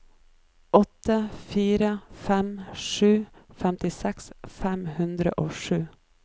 åtte fire fem sju femtiseks fem hundre og sju